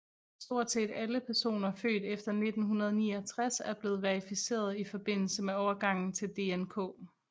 Stort set alle personer født efter 1969 er blevet verificeret i forbindelse med overgangen til DNK